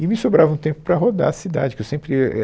E me sobrava um tempo para rodar a cidade, que eu sempre eh é